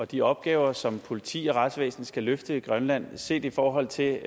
de opgaver som politi og retsvæsen skal løfte i grønland set i forhold til